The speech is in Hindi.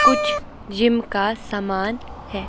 कुछ जिम का सामान है।